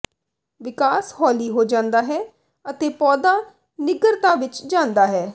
ਵਿਕਾਸ ਹੌਲੀ ਹੋ ਜਾਂਦਾ ਹੈ ਅਤੇ ਪੌਦਾ ਨਿੱਘਰਤਾ ਵਿਚ ਜਾਂਦਾ ਹੈ